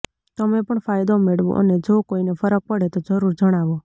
તમે પણ ફાયદો મેળવો અને જો કોઈ ને ફરક પડે તો જરૂર જણાવો